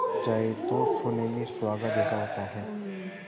जाए तो सोने में सुहागा जैसा होता है